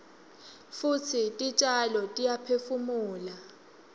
futsi titjalo tiyaphefumula